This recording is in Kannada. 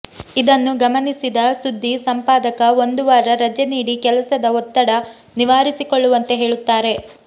ಇದನ್ನು ಗಮನಿಸಿದ ಸುದ್ದಿ ಸಂಪಾದಕ ಒಂದು ವಾರ ರಜೆ ನೀಡಿ ಕೆಲಸದ ಒತ್ತಡ ನಿವಾರಿಸಿಕೊಳ್ಳುವಂತೆ ಹೇಳುತ್ತಾರೆ